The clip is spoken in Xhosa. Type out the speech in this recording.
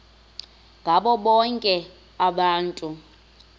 ngabo bonke abantu